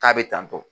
K'a bɛ tantɔ